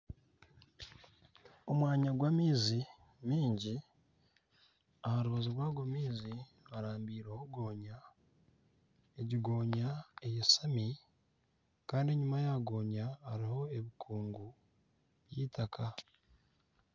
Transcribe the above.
Omwanya gw'amaizi maingi. Aharubaju rw'ago maizi harambireho goonya. Egi goonya eyashami Kandi enyima ya goonya hariho ebikuungu by'itaka